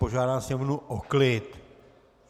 Požádám sněmovnu o klid.